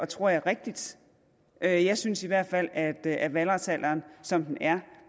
tror jeg rigtigt jeg jeg synes i hvert fald at at valgretsalderen som den er